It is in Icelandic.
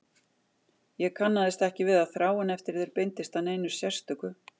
Ég kannaðist ekki við að þráin eftir þér beindist að neinu sérstöku.